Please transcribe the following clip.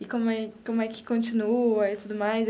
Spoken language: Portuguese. e como é como é que continua e tudo mais.